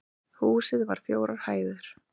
Húsið var fjórar hæðir